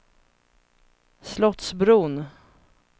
Slottsbron